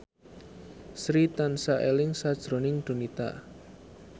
Sri tansah eling sakjroning Donita